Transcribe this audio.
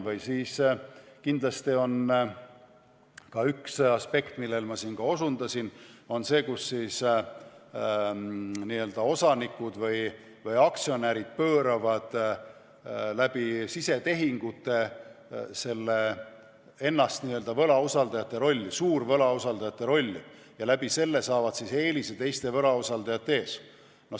Või siis kindlasti on ka üks aspekt, millele ma juba osundasin, see, kus osanikud või aktsionärid pööravad läbi sisetehingute ennast n-ö võlausaldajate rolli, suurvõlausaldajate rolli, ja saavad selle kaudu eelise teiste võlausaldajate ees.